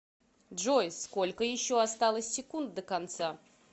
джой сколько еще осталось секунд до конца